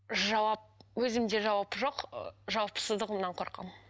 жауап өзімде жауап жоқ ы жауапсыздығымнан қорқамын